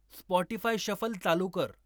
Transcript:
Spotify shuffle चालू कर